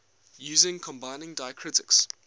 using combining diacritics